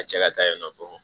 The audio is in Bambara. A cɛ ka taa yen nɔ dɔrɔn